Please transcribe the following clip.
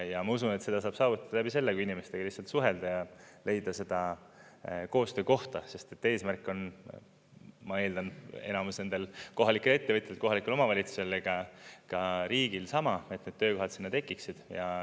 Ja ma usun, et seda saab saavutada läbi selle, kui inimestega suhelda ja leida koostöökohta, sest eesmärk on, ma eeldan, enamus nendel kohalikel ettevõtjatel ja kohalikel omavalitsustel, ka riigil sama, et need töökohad sinna tekiksid.